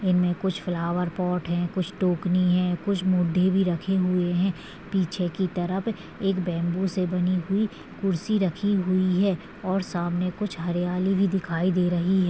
इनमे कुछ flower pot है कुछ टोकनी है कुछ मूढ़ी भी रखे हुए है पीछे की तरफ एक बेम्बू से बनी हुई कुर्सी राखी हुई है और सामने कुछ हरियाली भी दिखाई दे रही हे--